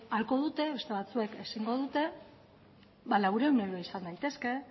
ahalko dute beste batzuek ezingo dute ba laurehun euro izan daitezke